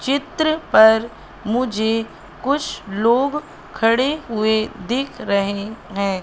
चित्र पर मुझे कुछ लोग खड़े हुए दिख रहे हैं।